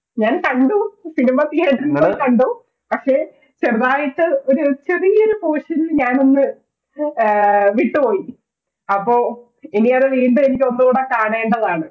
ഞാൻ കണ്ടു, cinematheater യിൽ പോയി കണ്ടു പക്ഷെ ചെറുതായിട്ട് ഒരു ചെറിയൊരു Potion നിൽ ഞാൻ ഒന്ന് വിട്ടുപോയി, അപ്പോൾ ഇനി അതുവീണ്ടും എനിക്കതൊന്നുടെ കാണേണ്ടതാണ്